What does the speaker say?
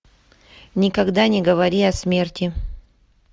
никогда не говори о смерти